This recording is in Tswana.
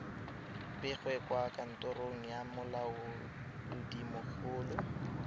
begwe kwa kantorong ya molaodimogolo